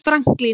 Franklín